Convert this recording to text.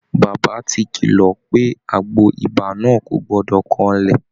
Bàbá ti kílọ̀ pé àgbo ibà náà kò gbọdọ̀ kanlẹ̀